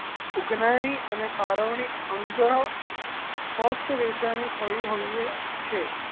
ઉઘરાણી અને ફાળવણી અંગ સ્પષ્ટ વેચાણ ની થવી હોવી છે.